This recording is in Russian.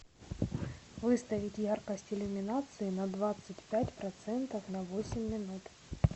выставить яркость иллюминации на двадцать пять процентов на восемь минут